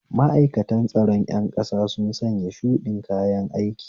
Ma'aikatan tsaron ƴan ƙasa sun sanya shuɗin kayan aiki